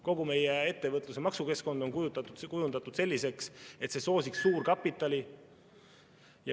Kogu meie ettevõtluse maksukeskkond on kujundatud selliseks, et see soosiks suurkapitali.